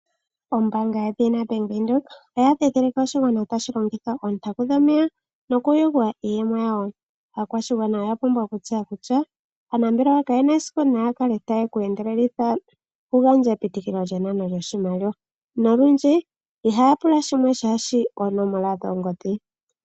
Ombaanga yedhina bank Windhoek oya ndhidhilika oshigwana tashi yogo oontaku yomeya nokuyugwa iiyemo yawo. Aakwashigwana oya pumbwa okutseya kutya aanambelewa ka yena esiku yeku endeleleke shinasha nokunana oshimaliwa nolundji ohaya pula oonomola dhoongodhi.